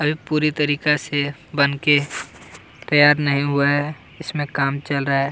अभी पूरी तरीका से बनके तैयार नहीं हुआ है इसमें काम चल रहा है।